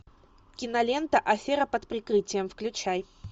кинолента афера под прикрытием включай